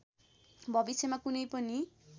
भविष्यमा कुनै पनि